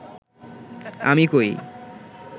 আমি কই